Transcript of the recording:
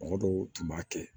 Mɔgɔ dɔw tun b'a kɛ